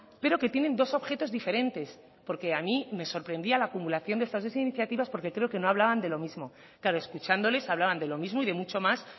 pero que tienen dos objetos diferentes porque a mí me sorprendía la acumulación de estas dos iniciativas porque creo que no hablaban de lo mismo claro escuchándoles hablaban de los mismo y de mucho más